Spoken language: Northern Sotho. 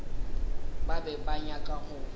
ba be ba nyaka go